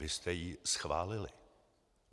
Vy jste ji schválili.